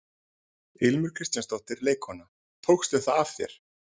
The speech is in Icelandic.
Ilmur Kristjánsdóttir, leikkona: Tókstu það af þér?